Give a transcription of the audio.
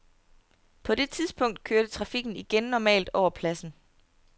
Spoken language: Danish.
På det tidspunkt kørte trafikken igen normalt over pladsen.